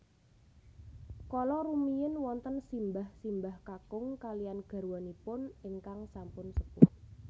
Kala rumiyin wonten simbah simbah kakung kalihan garwanipun ingkang sampun sepuh